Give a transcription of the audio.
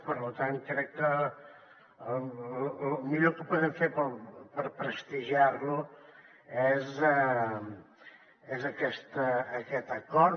per tant crec que el millor que podem fer per prestigiar lo és aquest acord